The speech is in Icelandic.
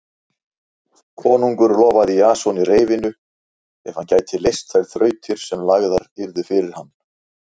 Konungur lofaði Jasoni reyfinu ef hann gæti leyst þær þrautir sem lagðar yrðu fyrir hann.